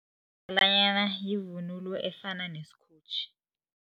yivunulo efana nesikotjhi.